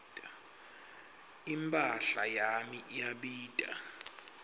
imphahla yami iyabita